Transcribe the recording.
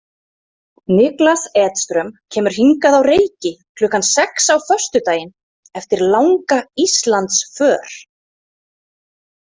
Niklas Edström kemur hingað á Reyki klukkan sex á föstudaginn eftir langa Íslandsför.